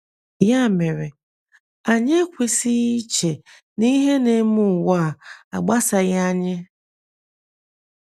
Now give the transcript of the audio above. Ya mere, anyị ekwesịghị iche na ihe na - eme ụwa a agbasaghị anyị.